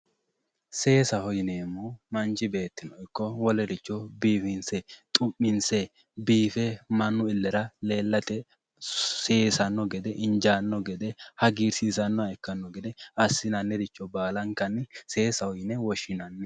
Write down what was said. Seesaho yineemmohu manchi beetti ikko biifinse xumminse mannu illera leellate seesate hagiirsiisanoha assinannire baallankanni seesaho yineemmo.